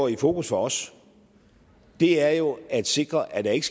i fokus for os er jo at sikre at der ikke